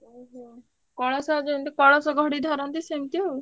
ଓହୋ! କଳସ ଯେମତି କଳସ ଘଡି ଧରନ୍ତି ସେମତି ଆଉ।